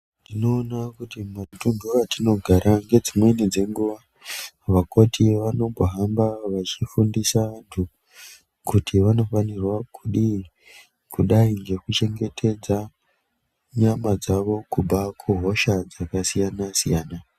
Tinoona kuti matundu atino gara ngedzimweni dzenguva vakoti vanombo hamba vachi fundisa vantu kuti vanofanirwa kudii kudai ngeku chengetedza nyama dzavo kubva ku hoshaa dzaka siyana siyana.